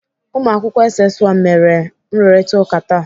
Ụmụakwụkwọ SS 1 mere nrụrịtaụka taa.